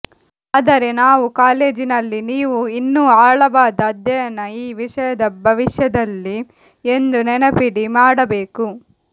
ಆದರೆ ನಾವು ಕಾಲೇಜಿನಲ್ಲಿ ನೀವು ಇನ್ನೂ ಆಳವಾದ ಅಧ್ಯಯನ ಈ ವಿಷಯದ ಭವಿಷ್ಯದಲ್ಲಿ ಎಂದು ನೆನಪಿಡಿ ಮಾಡಬೇಕು